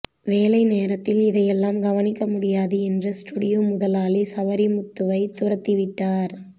வேலை நேரத்தில் இதை எல்லாம் கவனிக்கமுடியாது என்று ஸ்டுடியோ முதலாளி சவரிமுத்துவை துரத்திவிட்டார்